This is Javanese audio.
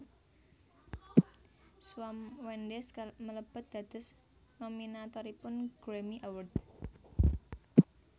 Shawn Mendes mlebet dados nominatoripun Grammy Awards